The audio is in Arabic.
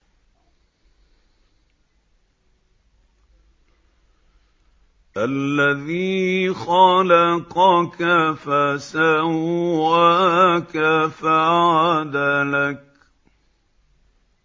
الَّذِي خَلَقَكَ فَسَوَّاكَ فَعَدَلَكَ